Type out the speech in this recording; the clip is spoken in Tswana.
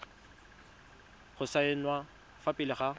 go saenwa fa pele ga